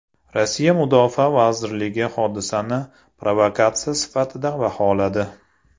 Rossiya Mudofaa vazirligi hodisani provokatsiya sifatida baholadi.